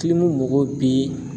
mago bi